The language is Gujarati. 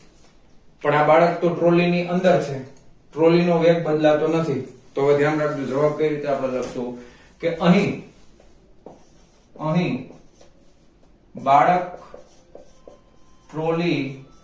પણ આ બાળક તો trolly ની અંદર છે trolly નો વેગ બદલાતો નથી તો હવે ધ્યાન રાખજો જવાબ કઈ રીતે આપણે લખશું કે અહીં અહીં બાળક trolly